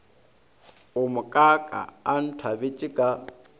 wo mokaaka a nthabetše ka